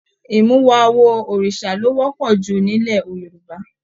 Imuwọ̀ awo Òrìsà lo wọpọ jù nilẹ̀ Yorùbá.